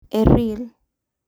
E Real.